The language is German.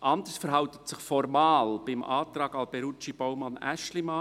Anders verhält es sich formal beim Antrag Alberucci/Baumann/Aeschlimann.